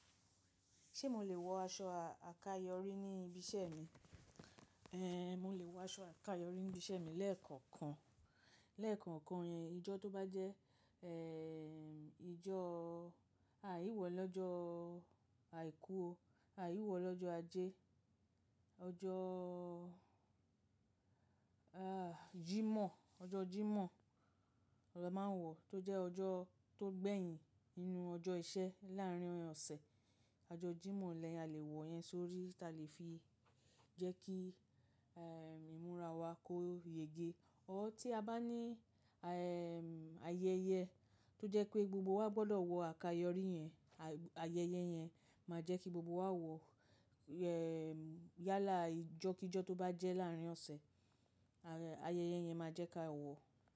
Ṣé mo lè wọ aṣọ àkayọrí ní ibi iṣẹ́ mi? Ẹ̀, mo lè wọ aṣọ àkayọrí ní ibi iṣẹ́ mi lẹ́ẹ̀kọ̀kan, lẹ́ẹ̀kọ̀kan yen, ìjọ tó bá jẹ́, ẹ̀, ìjọ, aìwọ̀ lọ́jọ́ àìkú, aìwọ̀ lọ́jọ́ ajé, ọjọ́, jímọ̀, ọjọ́ jímọ̀ ni a máa ń wọ̀, tó jẹ́ ọjọ́ tó gbẹ̀yìn nínú ọjọ́ ìṣẹ́ láàárín ọ̀sẹ̀. Ọjọ́ jímọ̀ ni a lè wọ̀ yẹn sórí tá lè fi jẹ́ kí, ìmúra wa kó yege. Ọ́, tí a bá ní, ayẹyẹ tó jẹ́ pé gbogbo wa gbọdọ̀ wọ àkayọrí yẹn, àyẹyẹ yẹn máa jẹ́ kí gbogbo wa wọ, yálà ìjọ kí jọ tó bá jẹ́ láàárín ọ̀sẹ̀, ayẹyẹ yẹn máa jẹ́ kí a wọ̀.